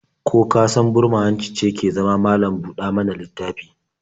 Ko ka san burma-hanci ce ke zama malam-ɗa-mana-littafi?